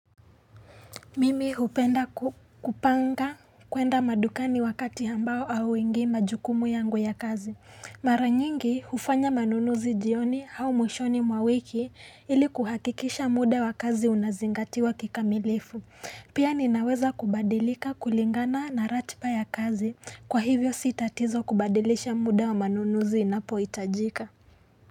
Mimi hupenda kupanga kuenda madukani wakati ambao hauingi majukumu yangu ya kazi. Mara nyingi hufanya manunuzi jioni au mwishoni mwa wiki ili kuhakikisha muda wa kazi unazingatiwa kikamilifu. Pia ninaweza kubadilika kulingana na ratiba ya kazi. Kwa hivyo si tatizo kubadilisha muda wa manunuzi inapohitajika.